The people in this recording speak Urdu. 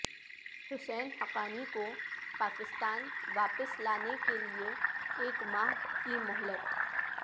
حسین حقانی کو پاکستان واپس لانے کے لیے ایک ماہ کی مہلت